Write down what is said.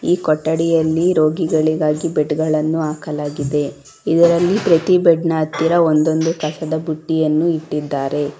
ಈ ಕೊಠಡಿಯಲ್ಲಿ ರೋಗಿಗಳಿಗಾಗಿ ಬೆಡ್ ಗಳನ್ನು ಹಾಕಲಾಗಿದೆ ಇದರಲ್ಲಿ ಇದರಲ್ಲಿ ಪ್ರತಿ ಬೆಡ್ ನ ಹತ್ತಿರ ಒಂದೊಂದು ಕಸದ ಬುಟ್ಟಿಯನ್ನು ಇಟ್ಟಿದ್ದಾರೆ.